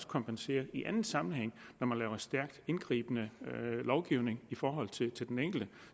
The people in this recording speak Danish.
kompenserer i anden sammenhæng når man laver en stærkt indgribende lovgivning i forhold til den enkelte